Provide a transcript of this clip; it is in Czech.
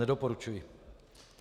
Nedoporučuji.